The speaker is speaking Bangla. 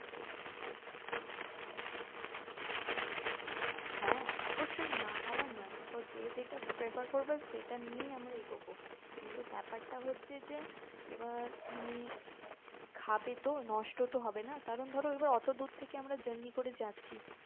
হ্যাঁ অবশ্যই না হওয়ার না দেখো যে যেটা prefer করবে সেটা নিয়েই আমরা এগোবো কিন্তু ব্যাপারটা হচ্ছে যে এবার ই খাবে তো নষ্টতো হবেনা কারণ ধরো আবার আমরা অটো দূর থেকে journey করে যাচ্ছি